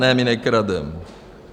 Ne, my nekrademe.